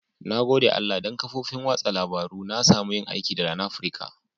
Na gode Allah dan kafofin wasan labaru na samu yin aiki da LANaprica.